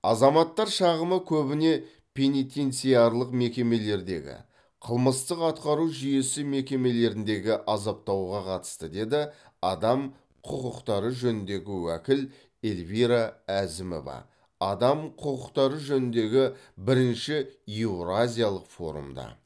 азаматтар шағымы көбіне пенитенциарлық мекемелердегі қылмыстық атқару жүйесі мекемелеріндегі азаптауға қатысты деді адам құқықтары жөніндегі уәкіл эльвира әзімова адам құқықтары жөніндегі бірінші еуразиялық форумда